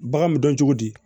Bagan mi dɔn cogo di